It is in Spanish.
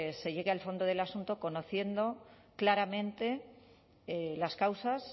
se llegue el fondo del asunto conociendo claramente las causas